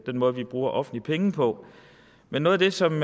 måde vi bruger offentlige penge på men noget af det som